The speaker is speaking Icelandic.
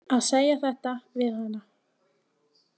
Að segja þetta við hana.